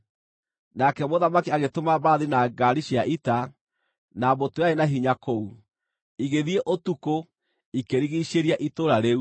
Nake mũthamaki agĩtũma mbarathi na ngaari cia ita, na mbũtũ yarĩ na hinya kũu. Igĩthiĩ ũtukũ, ikĩrigiicĩria itũũra rĩu.